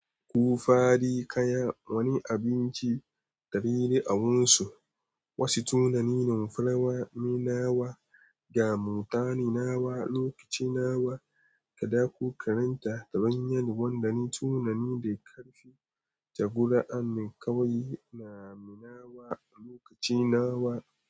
Ku fadi kaya wani abinci, dabere awunsu wasu tunanin fulawaminawa, damutaninawa, lokacinawa, kaɗako karanta daban yanuwan dane tunani da karfi, tabura anninkawi, nami nawa, lokacinawa.